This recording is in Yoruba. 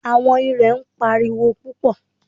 Àwọn irè ń pariwo púpọ̀.